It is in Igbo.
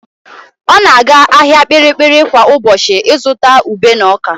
Ọ na-aga ahịa Kpiri-kpiri kwa ụbọchị ịzụta ube na ọ́kà.